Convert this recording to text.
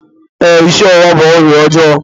Ee, ịsị ọwụwa bụ ọrịa ọjọọ